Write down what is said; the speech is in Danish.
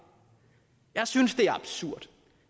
jeg synes det er absurd